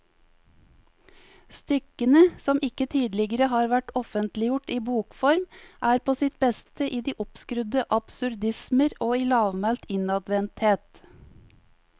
Stykkene, som ikke tidligere har vært offentliggjort i bokform, er på sitt beste i de oppskrudde absurdismer og i lavmælt innadvendthet.